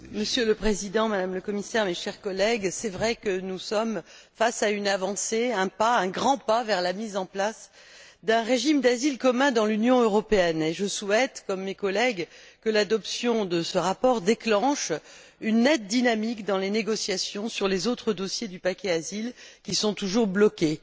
Monsieur le Président, Madame le Commissaire, chers collègues, il est vrai que nous sommes face à une avancée, un pas, un grand pas vers la mise en place d'un régime d'asile commun dans l'Union européenne et je souhaite, comme mes collègues, que l'adoption de ce rapport déclenche une nette dynamique dans les négociations sur les autres dossiers du paquet Asile qui sont toujours bloqués.